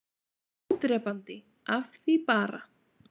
ÓDREPANDI- AF ÞVÍ BARA